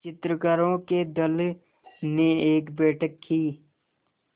चित्रकारों के दल ने एक बैठक की